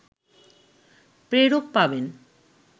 প্রেরক পাবেন